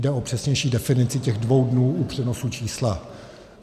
Jde o přesnější definici těch dvou dnů u přenosu čísla.